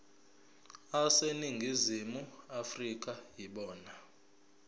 aseningizimu afrika yibona